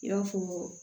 I b'a fɔ